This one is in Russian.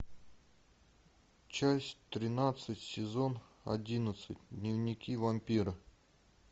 часть тринадцать сезон одиннадцать дневники вампира